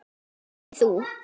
Ekki þú.